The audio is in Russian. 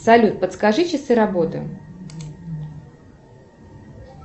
салют подскажи часы работы